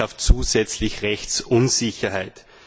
Das schafft zusätzlich Rechtsunsicherheit.